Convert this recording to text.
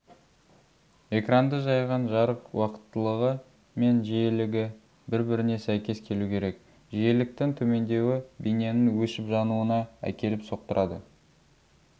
экранды жайған жарық уақыттылығы мен жиілігі бір-біріне сәйкес келу керек жиіліктің төмендеуі бейненің өшіп-жануына әкеліп соқтырады